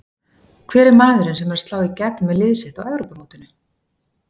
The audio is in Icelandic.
Hver er maðurinn sem er að slá í gegn með lið sitt á Evrópumótinu?